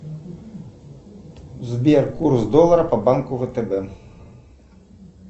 сбер курс доллара по банку втб